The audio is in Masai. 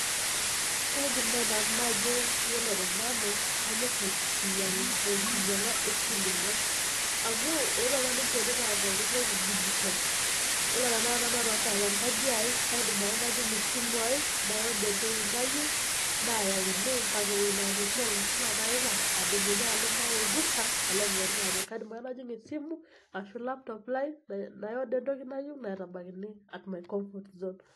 Kaidim naaji nanu najo iyiolo te nanu kanyoor enkinying'a e Killmall amuu eetuo aapa ninche neitaa pooki toki digital. Iyiolo tanaikata nanu atonita tenkaji aai kaidim aake najing esimu aai, naiorder entoki nayieu, naayakini mbaka ewueji natii. iime lazima paipang, adumunye aalo mpaka olduka, aao aing'oru iina toki. Kaidim aake najing esimu arashu laptop lai naiorder entoki nayieu naitabaikini at my comfort zone.